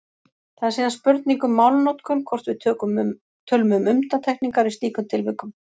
Það er síðan spurning um málnotkun hvort við tölum um undantekningar í slíkum tilvikum.